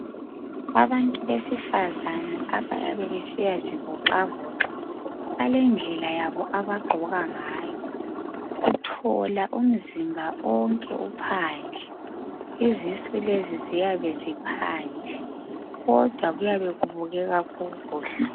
Abantu abesifazane abayabe besiyazivoxavoxa balendlela yabo abagqoka ngayo , uthola umzimba onke uphandle lezisu lezi ziyabe ziphandle kodwa kuyabe kubukeka kukuhle